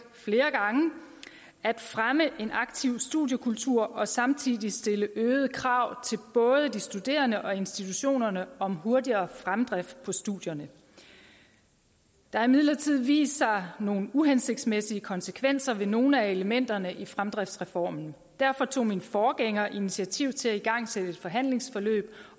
flere gange at fremme en aktiv studiekultur og samtidig stille øgede krav både de studerende og institutionerne om hurtigere fremdrift på studierne der har imidlertid vist sig nogle uhensigtsmæssige konsekvenser af nogle af elementerne i fremdriftsreformen derfor tog min forgænger initiativ til at igangsætte et forhandlingsforløb